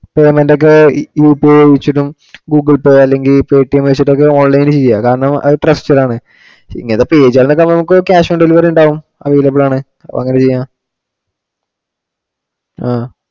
Firm ഇന്റെ ഒക്കെ UPI വെച്ചിട്ടും Google pay അല്ലെങ്കിൽ Pay TM വെച്ചിട്ടും ഒക്കെ online ചെയ്യുക. കാരണം അത് trusted ആണ്, ഇങ്ങനത്തെ page ഉകളിൽ ഒക്കെ cash on delivery ഉണ്ടാവും, available ആണ് അങ്ങനെ ചെയ്യാം. ആഹ്